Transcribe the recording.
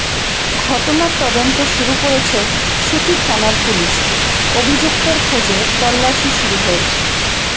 ঘটনার তদন্ত শুরু করেছে সুতি থানার পুলিশ অভিযুক্তের খোঁজে তল্লাশি শুরু হয়েছে